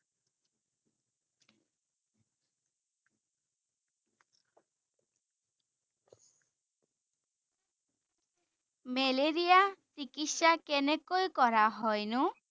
Malaria চিকিৎসা কেনেকৈ কৰা হয়নো?